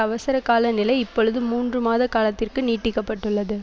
அவசரகால நிலை இப்பொழுது மூன்று மாத காலத்திற்கு நீட்டிக்கப்பட்டுள்ளது